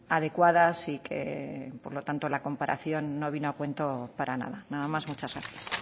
adecuadas y que por lo tanto la comparación no vino a cuento para nada nada más muchas gracias